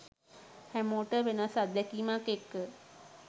හැමෝටම වෙනස් අත්දැකීමක් එක්ක